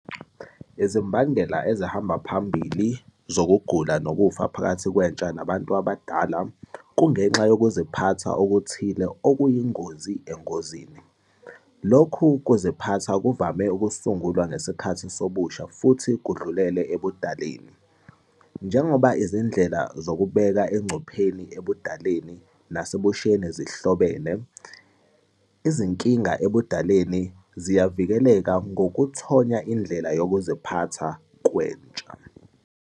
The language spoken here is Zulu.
Izimbangela ezihamba phambili zokugula nokufa phakathi kwentsha nabantu abadala kungenxa yokuziphatha okuthile okuyingozi engozini. Lokhu kuziphatha kuvame ukusungulwa ngesikhathi sobusha futhi kudlulele ebudaleni. Njengoba izindlela zokubeka engcupheni ebudaleni nasebusheni zihlobene, izinkinga ebudaleni ziyavikeleka ngokuthonya indlela yokuziphatha kwentsha.